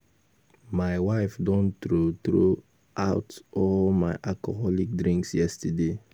My wife don throw throw out all my alcoholic drinks yesterday